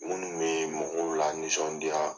Minnu bɛ mɔgɔw lanisɔndiya.